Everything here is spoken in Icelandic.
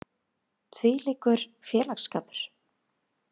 Hvílíkur félagsskapur.